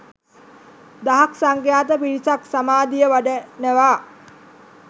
දහස් සංඛ්‍යාත පිරිසක් සමාධිය වඩනවා